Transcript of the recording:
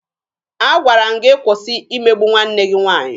Agwara m gị kwụsị imegbu nwanne gị nwaanyị!